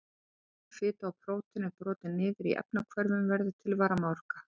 Þegar sykur, fita og prótín eru brotin niður í efnahvörfum verður til varmaorka.